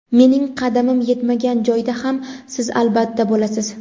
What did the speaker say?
Mening qadamim yetmagan joyda ham siz albatta bo‘lasiz.